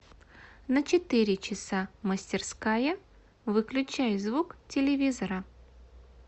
на четыре часа мастерская выключай звук телевизора